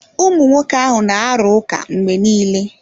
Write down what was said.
Ụmụ nwoke na-arụ ụka mgbe niile.